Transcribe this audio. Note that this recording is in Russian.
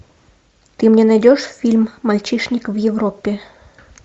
ты мне найдешь фильм мальчишник в европе